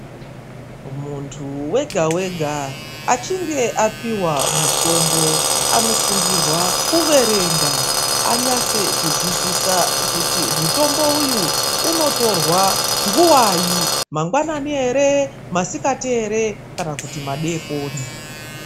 Munthu wega wega achinge apihwa mutombo anosungirwa kuverenga anyatse kuzwisisa kuti mutombo uyu unotorwa nguwai mangwanani ere, masikati ere kana kuti madeekoni.